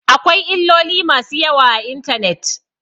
Akwai illoli masu yawa a intanet.